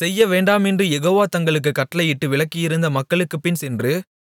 செய்ய வேண்டாமென்று யெகோவா தங்களுக்குக் கட்டளையிட்டு விலக்கியிருந்த மக்களுக்குப் பின்சென்று